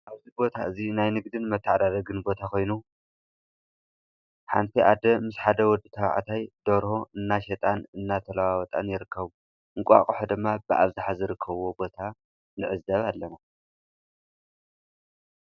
እዚ ቦታ እዚ ናይ ንግድን መተዓዳደግን ቦታ ኮይኑ ሓንቲ ኣደ ምስ ሓደ ወዲ ተባዕታይ ደርሆ እናሸጣን እናተላዋወጠን ይርከቡ፡፡ እንቋቁሖ ድማ ብኣብዝሓ ዝርከብዎ ቦታ ንዕዘብ ኣለና፡፡